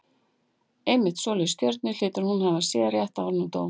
Einmitt svoleiðis stjörnur hlýtur hún að hafa séð rétt áður en hún dó.